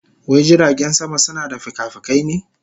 Wai jiragen sama suna da fikafikai ne?